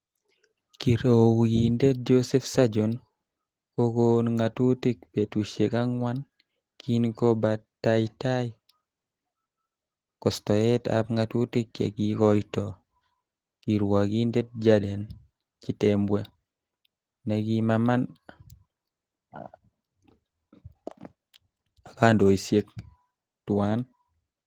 Kiruokindet Joseph Sergon, ko koon ngatutik betusiek angwan, kin kobataitai kostoet ab ngatutik chekikoito kirwokindet Jaden Chitembwe, nekimaman akaondisiek tuan.